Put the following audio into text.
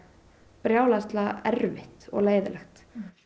brjálæðislega erfitt og leiðinlegt